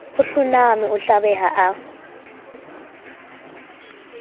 a hlonama a hlabeha a